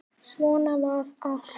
Svona var allt.